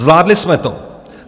Zvládli jsme to.